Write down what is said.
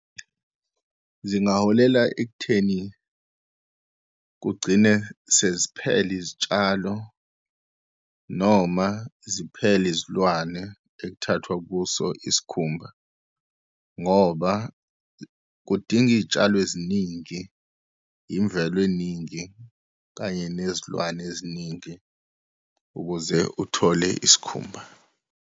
Zingaholela ekutheni kugcine seziphela izitshalo, noma ziphele izilwane ekuthathwa kuso isikhumba, ngoba kudinga iy'tshalo eziningi, imvelo eningi, kanye nezilwane eziningi, ukuze uthole isikhumba.